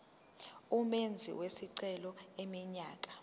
umenzi wesicelo eneminyaka